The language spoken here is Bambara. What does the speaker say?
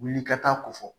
Wuli ka taa ko fɔ